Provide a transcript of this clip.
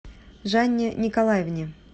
жанне николаевне